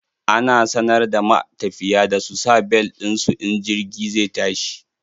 Ana sanar da matafiya da su sa bel ɗin su in jirgi zai tashi.